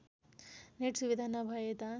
net सुविधा नभएता